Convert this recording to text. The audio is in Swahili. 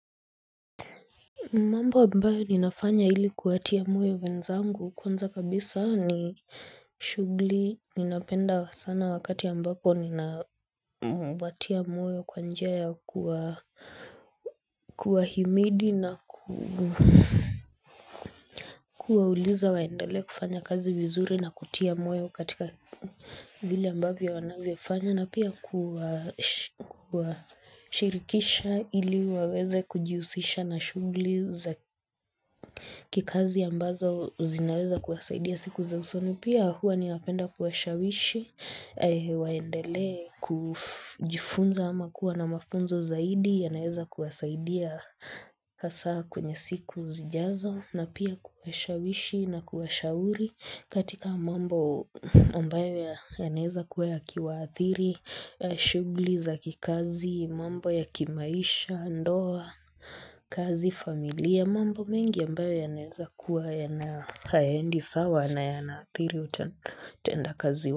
Mamba ambayo ninafanya ili kuwatia moyo wenzangu kwanza kabisa ni shughuli ninapenda sana wakati ya ambapo ninawatia moyo kwa njia ya kuwa himidi na kuwauliza waendelee kufanya kazi vizuri na kutia moyo katika vile ambavyo wanavyofanya na pia kuwa shirikisha ili waweze kujihusisha na shughuli za kikazi ambazo zinaweza kuwasaidia siku za usoni pia huwa niapenda kuwashawishi waendelee kujifunza ama kuwa na mafunzo zaidi yanaeza kuwasaidia hasa kwenye siku zijazo na pia kuwashawishi na kuwashauri katika mambo ambayo yanaweza kuwa yakiwaathiri, shughuli za kikazi, mambo ya kimaisha, ndoa, kazi familia. Ya mambo mengi ambayo yanaweza kuwa yana hayaendi sawa na yanaathiri utenda kazi wa.